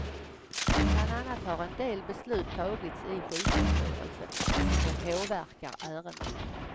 Bland annat har en del beslut tagits i sjukvårdsstyrelsen, vilka påverkar ärendet.